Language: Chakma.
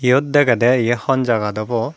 yot degede ye hon jagat obow.